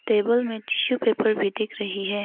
Table में tissue paper भी दिख रही है।